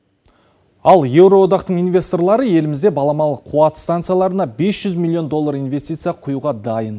ал еуро одақтың инвесторлары елімізде баламалы қуат станцияларына бес жүз миллион доллар инвестиция құюға дайын